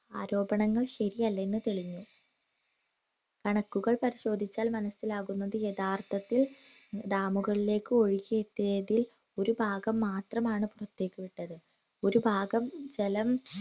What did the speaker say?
ആരോപണങ്ങൾ ശരിയല്ല എന്ന് തെളിഞ്ഞു കണക്കുകൾ പരിശേധിച്ചാൽ മനസിലാകുന്നത് യഥാർത്ഥത്തിൽ ഡാമുകളിലേക്ക് ഒഴുകിയെത്തിയതിൽ ഒരു ഭാഗം മാത്രമാണ് പൊറത്തേക്കു വിട്ടത് ഒരു ഭാഗം ജലം